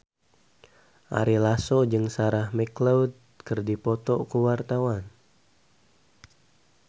Ari Lasso jeung Sarah McLeod keur dipoto ku wartawan